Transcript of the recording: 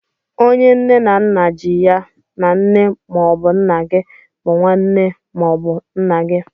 Onye nne na nna ji ya na nne ma ọbụ nna gị bụ nwaane nne ma ọ bụ nna gị.